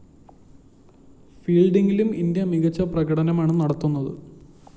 ഫീല്‍ഡിങിലും India മികച്ച പ്രകടനമാണ് നടത്തുന്നത്